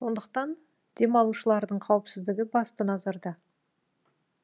сондықтан демалушылардың қауіпсіздігі басты назарда